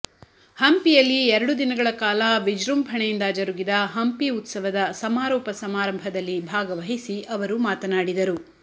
ಹಂಪಿಯಲ್ಲಿ ಎರಡು ದಿನಗಳ ಕಾಲ ವಿಜೃಂಭಣೆಯಿಂದ ಜರುಗಿದ ಹಂಪಿ ಉತ್ಸವದ ಸಮಾರೋಪ ಸಮಾರಂಭದಲ್ಲಿ ಭಾಗವಹಿಸಿ ಅವರು ಮಾತನಾಡಿದರು